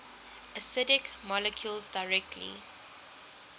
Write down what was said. acidic molecules directly